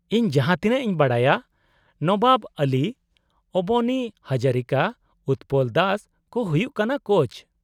-ᱤᱧ ᱡᱟᱦᱟᱸ ᱛᱤᱱᱟᱹᱜ ᱤᱧ ᱵᱟᱰᱟᱭᱟ, ᱱᱚᱵᱟᱵ ᱟᱞᱤ, ᱚᱵᱚᱱᱤ ᱦᱟᱡᱟᱨᱤᱠᱟ, ᱩᱛᱯᱚᱞ ᱫᱟᱥ ᱠᱚ ᱦᱩᱭᱩᱜ ᱠᱟᱱᱟ ᱠᱳᱪ ᱾